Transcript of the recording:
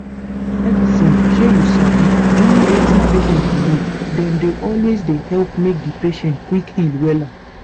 medicine shey you sabi join wetin patient believe dem dey always dey help make di patient quick heal wella.